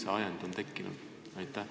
Või millest see ajend tekkis?